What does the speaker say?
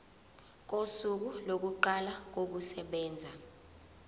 kosuku lokuqala kokusebenza